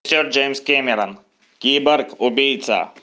сер джеймс кэмерон киборг убийца